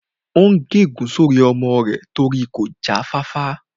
Ó n gé ègún sórí ọmọ rẹ̀ torí kò já fáfá